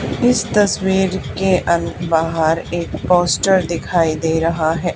इस तस्वीर के अं बाहर एक पोस्टर दिखाई दे रहा है।